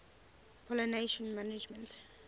pollination management